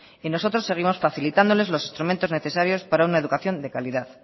y nosotros seguimos facilitándoles los instrumentos necesarios para una educación de calidad